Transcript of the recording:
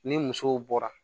Ni musow bɔra